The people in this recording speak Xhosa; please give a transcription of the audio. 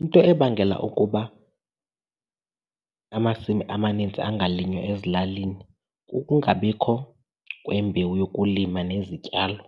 Into ebangela ukuba amasimi amanintsi angalinywa ezilalini kukungabikho kwembewu yokulima nezityalo.